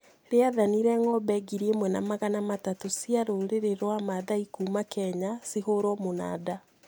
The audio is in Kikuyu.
rĩathanire ng'ombe ngiri ĩmwe na magana matatũ cia rũrĩrĩrwa maathai kuma Kenya cihũrwo mũnada